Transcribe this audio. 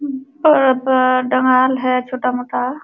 उम्म पा पा डाल है छोटा-मोटा।